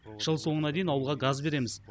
жыл соңына дейін ауылға газ береміз